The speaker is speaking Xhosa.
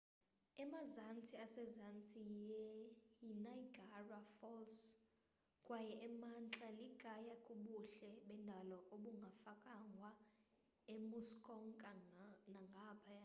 emazantsi asezantsi yiniagara falls kwaye emantla likhaya kubuhle bendalo obungafakwanga emuskoka nangaphaya